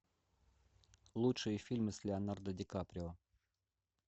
лучшие фильмы с леонардо ди каприо